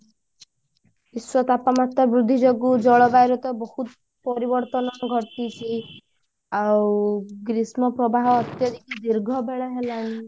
ବିଶ୍ଵ ତାପମାତ୍ରା ବୃଦ୍ଧି ଯୋଗୁ ଜଳବାଯୁରେ ତ ବହୁତ ପରିବର୍ତନ ଘଟିଛି ଆଉ ଗ୍ରୀଷ୍ମ ପ୍ରବାହ ଅତ୍ୟଧିକ ଦୀର୍ଘ ବେଳ ହେଲାଣି